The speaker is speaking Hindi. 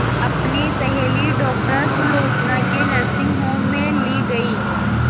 अपनी सहेली डॉक्टर सुलोचना के नर्सिंग होम में ली गई